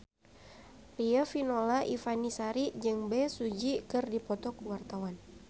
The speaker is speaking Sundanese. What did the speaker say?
Riafinola Ifani Sari jeung Bae Su Ji keur dipoto ku wartawan